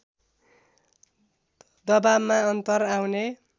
दबावमा अन्तर आउने